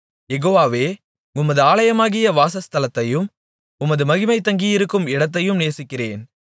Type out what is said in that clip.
யெகோவாவே உமது ஆலயமாகிய வாசஸ்தலத்தையும் உமது மகிமை தங்கியிருக்கும் இடத்தையும் நேசிக்கிறேன்